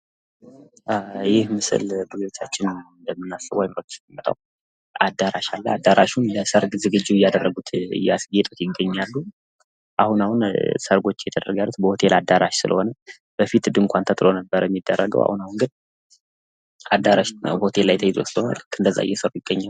ይህ ምስል ስናስበው አእምሮችን ላይ የሚመጣው አዳራሽ አለ። አዳራሹም ለሰርግ ዝግጁ እያደረጉት ፣ እያስጌጡት ይታያሉ። በፊት ሰርግ ድንኳን ተጥሎ ነበር የሚደረገው አሁን አሁን ግን ሆቴል ተይዞ ስለሆነ ልክ እንደዛ እየሰሩ ይገኛሉ።